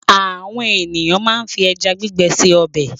Àwọn ènìyàn máa ń fi ẹja gbígbẹ se ọbẹ̀.